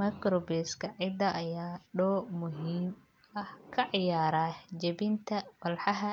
Microbes-ka ciidda ayaa door muhiim ah ka ciyaara jebinta walxaha